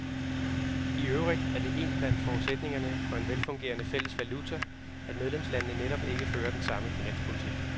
I øvrigt er det én blandt forudsætningerne for en velfungerende fælles valuta, at medlemslandene netop ikke fører den samme finanspolitik.